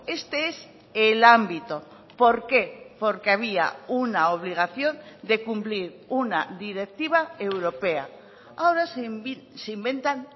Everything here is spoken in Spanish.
este es el ámbito por qué porque había una obligación de cumplir una directiva europea ahora se inventan